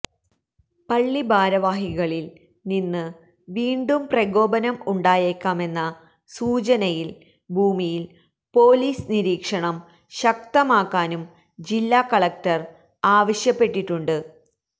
പള്ളി ഭാരവാഹികളിൽ നിന്ന് വീണ്ടും പ്രകോപനം ഉണ്ടായേക്കാമെന്ന സൂചനയിൽ ഭൂമിയിൽ പൊലീസ് നിരീക്ഷണം ശക്തമാക്കാനും ജില്ലാ കളക്ടർ ആവശ്യപ്പെട്ടിട്ടുണ്ട്